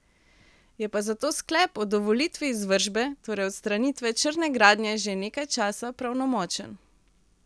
Je pa zato sklep o dovolitvi izvršbe, torej odstranitve črne gradnje že nekaj časa pravnomočen.